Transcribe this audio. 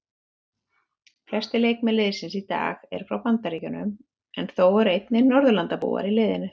Flestir leikmenn liðsins í dag eru frá Bandaríkjunum en þó eru einnig Norðurlandabúar í liðinu.